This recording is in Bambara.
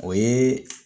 O ye